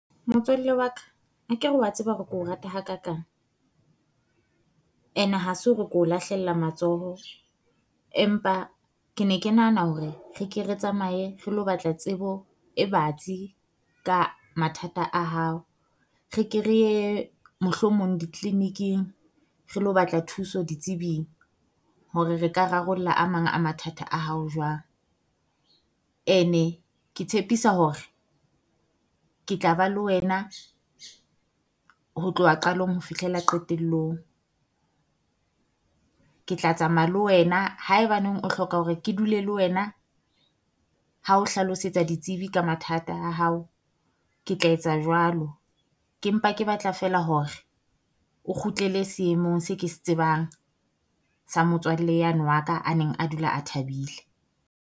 Motswalle wa ka akere wa tseba hore ko rata ha kakang? And ha se hore ko lahlella matsoho, empa ke ne ke nahana hore re ke re tsamaye re lo batla tsebo e batsi ka mathata a hao. Re ke reye mohlomong di-clinic-ing re lo batla thuso ditsebing hore re ka rarollla a mang a mathata a hao jwang. Ene ke tshepisa hore ke tla ba le wena ho tloha qalong ho fihlela qetellong, ke tla tsamaya le wena haebaneng o hloka hore ke dule le wena ha o hlalosetsa ditsebi ka mathata a hao. Ke tla etsa jwalo, ke mpa ke batla feela hore o kgutlele seemong se ke se tsebang sa motswalle yane wa ka a neng a dula a thabile.